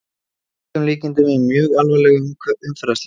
Að öllum líkindum í mjög alvarlegu umferðarslysi!